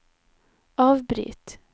avbryt